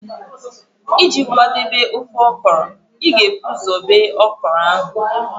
Iji kwadebe ofe okra, ị ga-egbutu okra mbụ